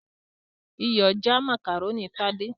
Iyọ̀ já macaroni Tade's.